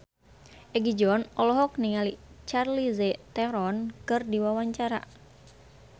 Egi John olohok ningali Charlize Theron keur diwawancara